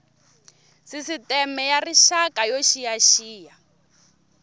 sisteme ya rixaka yo xiyaxiya